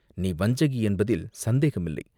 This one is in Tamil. நீ வஞ்சகி என்பதில் சந்தேகமில்லை.